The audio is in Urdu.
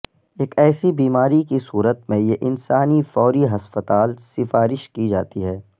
ایک ایسی بیماری کی صورت میں یہ انسانی فوری ہسپتال سفارش کی جاتی ہے